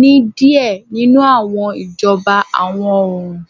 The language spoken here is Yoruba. ni diẹ ninu awọn ijọba iwọ-oorun.